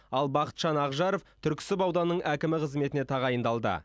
ал бақытжан ақжаров түрксіб ауданының әкімі қызметіне тағайындалды